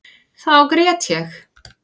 Þá grét ég.